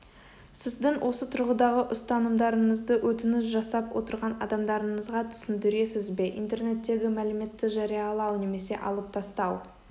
сіздің осы тұрғыдағы ұстанымдарыңызды өтініш жасап отырған адамдарыңызға түсіндіресіз бе интернеттегі мәліметті жариялау немесе алып тастау